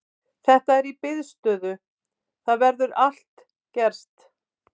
Þetta er í biðstöðu, það getur allt gerst.